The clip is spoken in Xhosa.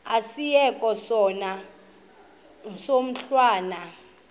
asiyeke sono smgohlwaywanga